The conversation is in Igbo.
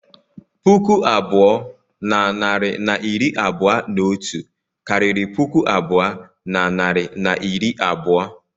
Puku abụọ na narị na iri abụọ na otu karịrị puku abụọ na narị na iri abụọ.